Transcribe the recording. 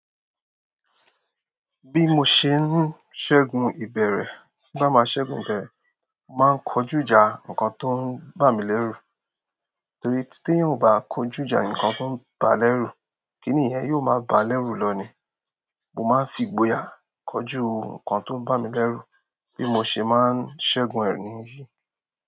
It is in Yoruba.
Bi mo ṣe n ṣẹgun ibẹrẹ, ti n ba ma ṣẹgun ibẹrẹ mo ma n koju ìjà nkan to n ba mi leru. Torí tí tí èèyàn ò bá kojú ìjà nǹkan tó ń bá a lérù, kí ni ìyẹn yóò máa bá a lérù lọ ni? Mo máa ń fi ìgboyà kojú nǹkan tó ń bà mí lérù bí mo ṣe máa ń ṣẹ́gun ẹ níyì.